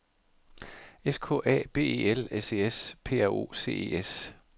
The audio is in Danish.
S K A B E L S E S P R O C E S